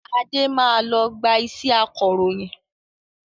Adé máa lọ gba iṣẹ́ akọròyìn